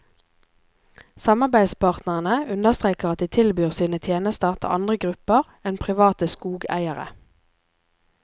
Samarbeidspartnerne understreker at de tilbyr sine tjenester til andre grupper enn private skogeiere.